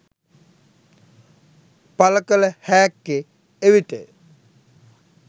පලකල හෑක්කෙ එවිටය